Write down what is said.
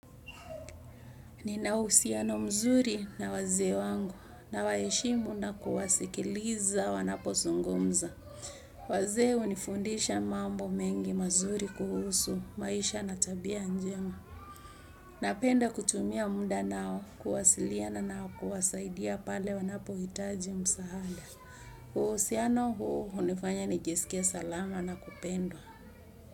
Nina uhusiano mzuri na wazee wangu nawaheshimu na kuwasikiliza wanapozungumza. Wazee hunifundisha mambo mengi mazuri kuhusu maisha na tabia njema. Napenda kutumia mda nao kuwasiliana nao kuwasaidia pale wanapohitaji msaada uhusiano huu hunifanya nijisikie salama na kupendwa.